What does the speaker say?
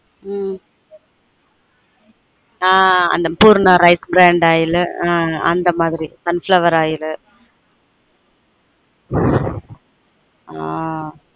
உம் ஆன் Poorna rice brandoil அந்த அன் அந்த மாதிரி sunflower oil ஆன்